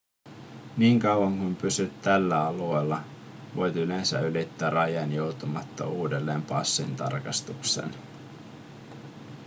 niin kauan kuin pysyt tällä alueella voit yleensä ylittää rajan joutumatta uudelleen passintarkastukseen